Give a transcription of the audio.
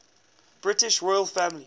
british royal family